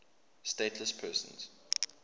stateless persons